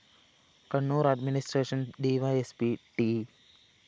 Kannur‍ administration DySP T